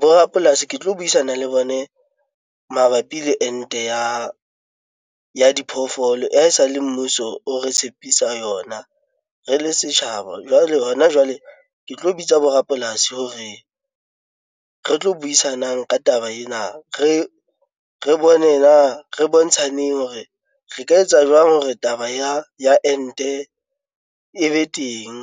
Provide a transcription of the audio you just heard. Bo rapolasi ke tlo buisana le bone mabapi le ente ya diphoofolo e sale mmuso o re tshepisa yona re le setjhaba. Jwale hona jwale, ke tlo botsa borapolasi hore re tlo buisanang ka taba ena re bone na re bontshaneng hore re ka etsa jwang hore taba ya ente e be teng